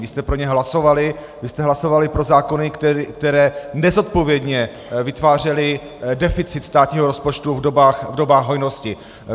Vy jste pro ně hlasovali, vy jste hlasovali pro zákony, které nezodpovědně vytvářely deficit státního rozpočtu v dobách hojnosti.